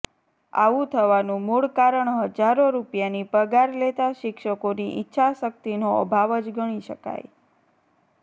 આવું થવાનું મૂળ કારણ હજારો રૂપિયાની પગાર લેતા શિક્ષકોની ઈચ્છા શક્તિનો અભાવ જ ગણી શકાય